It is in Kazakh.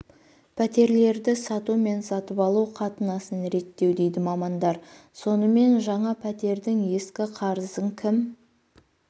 пәтерлерді сату мен сатып алу қатынасын реттеу дейді мамандар сонымен жаңа пәтердің ескі қарызын кім